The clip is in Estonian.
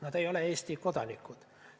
Nad ei ole Eesti kodanikud.